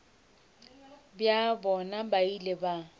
bja bona ba ile ba